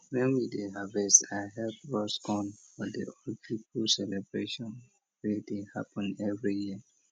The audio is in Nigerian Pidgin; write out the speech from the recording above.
when we dey harvest i help roast corn for the old people celebration wey dey happen every year